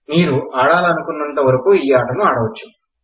మీరు ఆడాలనుకున్నంతవరకు ఈ అటను ఆడవచ్చు